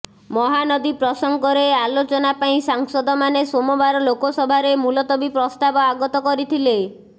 ମହାନଦୀ ପ୍ରସଙ୍ଗରେ ଆଲୋଚନା ପାଇଁ ସାଂସଦମାନେ ସୋମବାର ଲୋକସଭାରେ ମୁଲତବୀ ପ୍ରସ୍ତାବ ଆଗତ କରିଥିଲେ